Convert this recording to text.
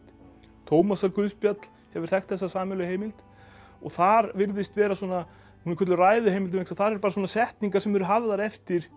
Tómasarguðspjall hefur þekkt þessa sameiginlegu heimild og þar virðist vera svona hún er kölluð Ræðuheimildin vegna þess þar eru bara svona setningar sem eru hafðar eftir